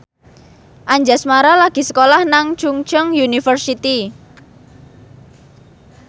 Anjasmara lagi sekolah nang Chungceong University